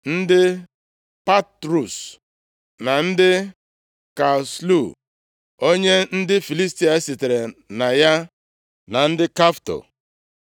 ndị Patrus, na ndị Kasluh (onye ndị Filistia sitere na ya) na ndị Kafto.